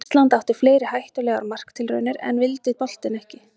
Ísland átti fleiri hættulegar marktilraunir en inn vildi boltinn ekki.